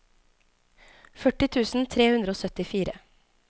førti tusen tre hundre og syttifire